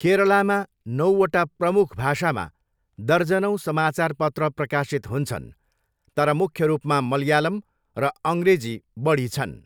केरलामी नौवटा प्रमुख भाषामा दर्जनौँ समाचार पत्र प्रकाशित हुन्छन्, तर मुख्य रूपमा मलयालम र अङ्ग्रेजी बढी छन्।